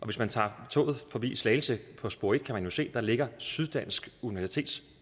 hvis man tager toget forbi slagelse på spor en kan man jo se at der ligger syddansk universitets